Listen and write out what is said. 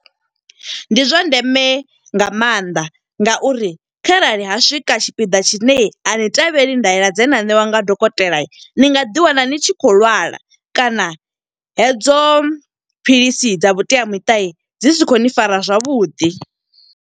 Ndi zwa ndeme nga maanḓa nga uri kharali ha swika tshipiḓa tshine ani tevheli ndaela dze na ṋewa nga dokotela. Ni nga ḓi wana ni tshi khou lwala kana, hedzo philisi dza vhuteamiṱa dzi si khou ni fara zwavhuḓi.